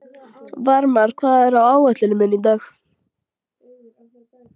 Varmar, hvað er á áætluninni minni í dag?